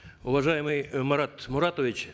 уважаемый марат муратович